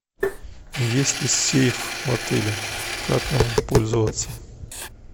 есть ли сейф в отеле как им пользоваться